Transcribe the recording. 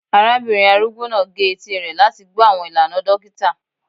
Arabinrin arugbo naa ge eti rẹ lati gbọ awọn ilana dokita